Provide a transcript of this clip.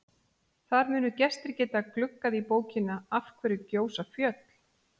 Þar munu gestir geta gluggað í bókina Af hverju gjósa fjöll?